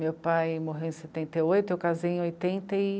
Meu pai morreu em setenta e oito e eu casei em oitenta